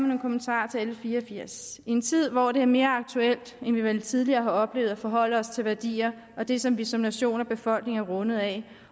nogle kommentarer til l fire og firs i en tid hvor det er mere aktuelt end vi vel tidligere har oplevet at forholde os til værdier og til det som vi som nation og befolkning er rundet af